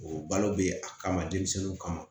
O balo bɛ a kama denmisɛnninw kama